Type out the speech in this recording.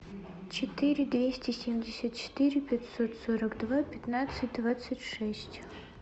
четыре двести семьдесят четыре пятьсот сорок два пятнадцать двадцать шесть